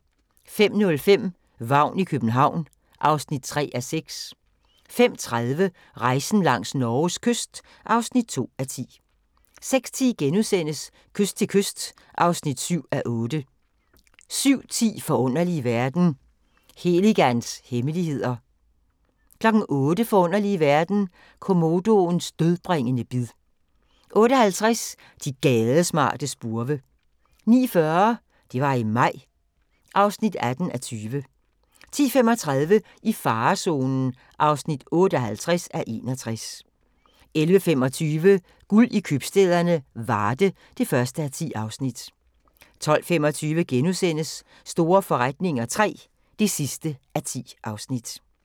05:05: Vagn i København (3:6) 05:30: Rejsen langs Norges kyst (2:10) 06:10: Kyst til kyst (7:8)* 07:10: Forunderlige verden – Heligans hemmeligheder 08:00: Forunderlige verden – komodoens dødbringende bid 08:50: De gadesmarte spurve 09:40: Det var i maj (18:20) 10:35: I farezonen (58:61) 11:25: Guld i købstæderne - Varde (1:10) 12:25: Store forretninger III (10:10)*